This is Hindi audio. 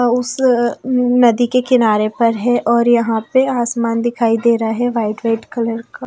उस नदी के किनारे पर है और यहां पे आसमान दिखाई दे रहा है वाइट वाइट कलर का--